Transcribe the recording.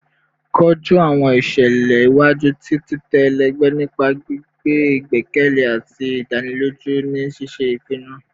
Koju awọn iṣẹlẹ iwaju ti titẹ ẹlẹgbẹ nipa gbigbe igbẹkẹle ati idaniloju ni ṣiṣe ipinnu